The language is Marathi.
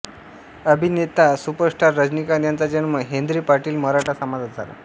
अभिनेता सुपरस्टार रजनीकांत यांचा जन्म हेन्द्रे पाटील मराठा समाजात झाला